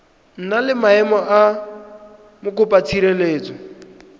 na le maemo a mokopatshireletso